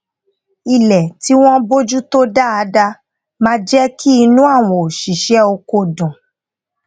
ilé tí wón bójú tó dáadá máa jé kí inú àwọn òṣìṣé oko dùn